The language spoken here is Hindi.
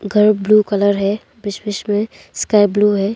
घर ब्लू कलर है बीच बीच में स्काई ब्लू है।